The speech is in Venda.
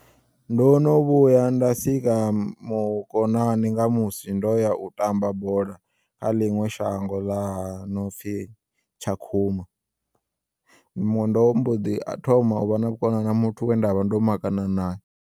Ndo no vhuya nda sika mukonani nga musi ndoya utamba bola khaḽiṅwe shango la nopfi Tshakhuma. Ndo mbo ḓi thoma uvha na vhukonani na muthu we ndavha ndo makana naye.